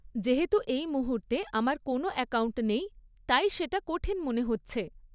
যেহেতু এই মুহূর্তে আমার কোনও অ্যাকাউন্ট নেই, তাই সেটা কঠিন মনে হচ্ছে।